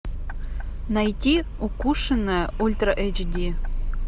найти укушенная ультра эйч ди